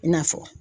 I n'a fɔ